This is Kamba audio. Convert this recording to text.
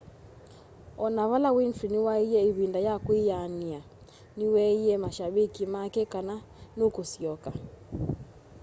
ona vala winfrey niwaiaa ivinda ya kwiyaania niweeie mashabiki make kana nũkũsyoka